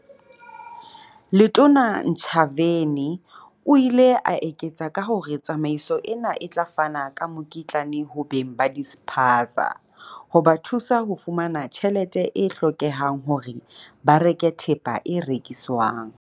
Letona Ntshavheni o ile a eketsa ka hore tsamaiso ena e tla fana ka mokitlane ho beng ba dispaza, ho ba thusa ho fumana tjhelete e hlokehang hore ba reke thepa e rekiswang.